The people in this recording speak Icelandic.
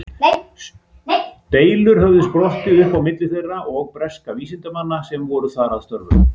Deilur höfðu sprottið upp á milli þeirra og breskra vísindamanna sem voru þar að störfum.